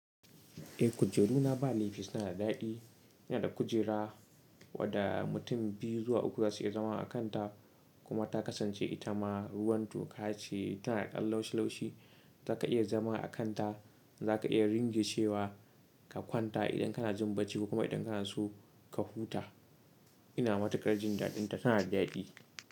Eh kujeru na ba laifi suna da daɗi, suna da kujera wadda mutum biyu zuwa uku za su iya zama a kanta kuma ta kasance ita ma ruwan toka ce tana da ƙan laushi laushi zaka iya zama a kanta, zaka iya ringe cewa ka kwanta idan kana jin bacci kuma idan kana so ka huta. Ina matukar jin daɗinta tana da daɗi.